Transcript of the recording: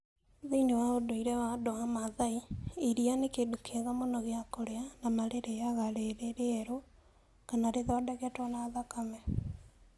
Thĩinĩ wa ũndũire wa andũ a Masai, iria nĩ kĩndũ kĩega mũno gĩa kũrĩa, na marĩrĩĩaga rĩrĩ rĩerũ, kana rĩthondeketwo na thakame.